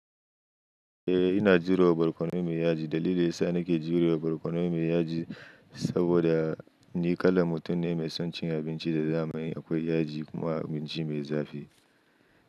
Eh ina jurewa barkono mai yaji. Dalilin sa nake jurewa barkono mai yaji saboda ni kalan mutum ne mai son cin abinci da zamani akwai yaji kuma abinci mai zafi.